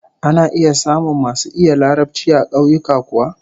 Ana samun masu iya Larabci a kauyuka kuwa?